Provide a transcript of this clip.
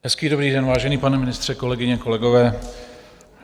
Hezký dobrý den, vážený pane ministře, kolegyně, kolegové.